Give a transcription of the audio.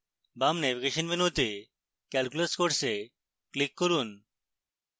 বাম ন্যাভিগেশন মেনুতে calculus course click করুন